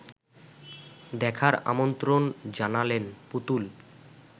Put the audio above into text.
দেখার আমন্ত্রণ জানালেন পুতুল